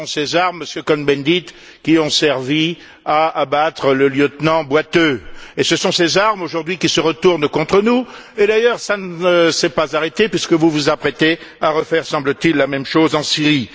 Ce sont ces armes, Monsieur Cohn Bendit, qui ont servi à abattre le lieutenant Boiteux, et ce sont ces armes, aujourd'hui, qui se retournent contre nous et, d'ailleurs, ça ne s'est pas arrêté, puisque vous vous apprêtez à refaire, semble t il, la même chose en Syrie.